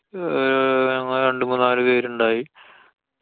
അഹ് ഞങ്ങള് രണ്ടു മൂന്നാലു പേരുണ്ടായി.